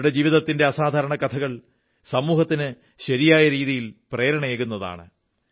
അവരുടെ ജീവിതത്തിന്റെ അസാധാരണ കഥകൾ സമൂഹത്തിന് ശരിയായ രീതിയിൽ പ്രേരണയേകുന്നതാണ്